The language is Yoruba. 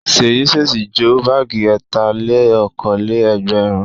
Ṣèyí ṣèṣì jó báágì ẹ̀tà-lé-okòó-lé-ẹgbẹ̀rún.